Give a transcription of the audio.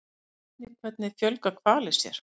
Sjá einnig Hvernig fjölga hvalir sér?